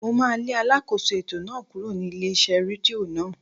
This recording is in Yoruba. Mo máà lé alákóso ètò náà kúrò ní ilé iṣẹ́ rédíò náà.